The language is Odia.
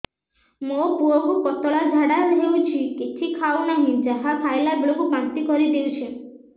ମୋ ପୁଅ କୁ ପତଳା ଝାଡ଼ା ହେଉଛି କିଛି ଖାଉ ନାହିଁ ଯାହା ଖାଇଲାବେଳକୁ ବାନ୍ତି କରି ଦେଉଛି